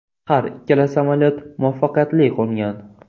Har ikkala samolyot muvaffaqiyatli qo‘ngan.